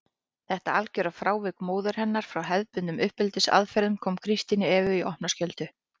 Þetta algjöra frávik móður hennar frá hefðbundnum uppeldisaðferðum kom Kristínu Evu í opna skjöldu.